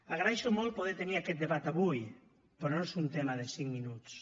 agraeixo molt poder tenir aquest debat avui però no és un tema de cinc minuts